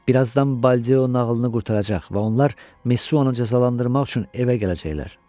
Bir azdan Baldeo nağılını qurtaracaq və onlar Messuanı cəzalandırmaq üçün evə gələcəklər.